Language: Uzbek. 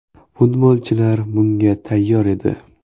Futbolchilar bunga tayyor edi.